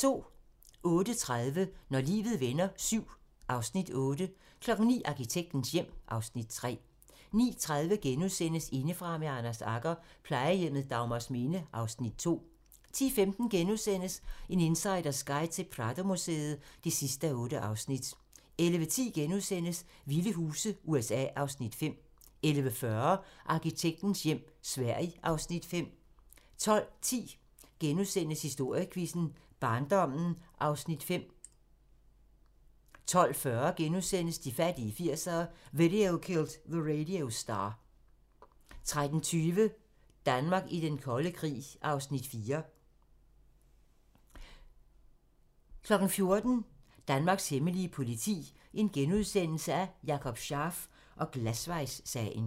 08:30: Når livet vender VII (Afs. 8) 09:00: Arkitektens hjem (Afs. 3) 09:30: Indefra med Anders Agger - Plejehjemmet Dagmarsminde (Afs. 2)* 10:15: En insiders guide til Pradomuseet (8:8)* 11:10: Vilde huse - USA (Afs. 5)* 11:40: Arkitektens hjem - Sverige (Afs. 5) 12:10: Historiequizzen: Barndommen (Afs. 5)* 12:40: De fattige 80'ere: Video Killed the Radio Star * 13:20: Danmark i den kolde krig (Afs. 4) 14:00: Danmarks hemmelige politi: Jakob Scharf og Glasvejssagen *